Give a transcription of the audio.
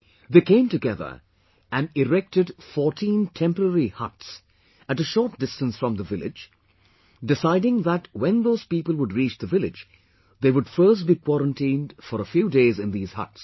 They came together and erected 14 temporary huts at a short distance from the village, deciding that when those people would reach the village, they would first be quarantined for a few days in these huts